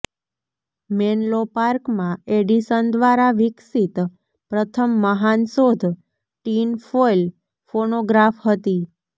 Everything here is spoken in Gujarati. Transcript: મેન્લો પાર્કમાં એડિસન દ્વારા વિકસિત પ્રથમ મહાન શોધ ટીન ફોઇલ ફોનોગ્રાફ હતી